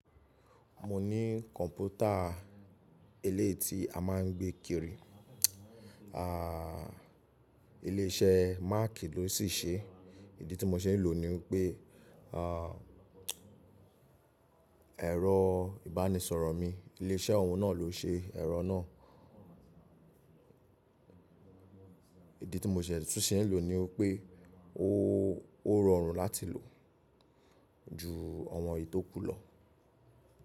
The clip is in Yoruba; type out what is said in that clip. Mo ní kọ̀npútà eléyii ti a máà ń gbé kiri. À, ilé iṣẹ́ Mac ló sì ṣe é. Ìdí tí mo ṣe ń lò ní pé, ẹ̀rọ ìbánisọ̀rọ̀ mi ilé iṣẹ́ ọ̀ún náà ló ṣe ẹ̀rọ náà. Ìdí tí mo sì tún ṣe ń lò ni pé ó rọrùn láti lò ju awọn ètó kú lọ.